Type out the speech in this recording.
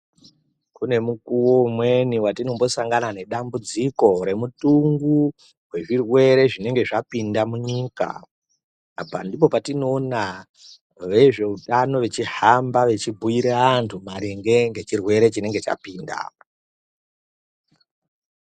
Kune mukuwo umweni watinombosangana nedambudziko remutungu wezvirwere zvinenge zvapinda munyika. Apa ndipo patinoona vezveutano vechihamba vechibhuire antu maringe ngechirwere chinenge chapinda.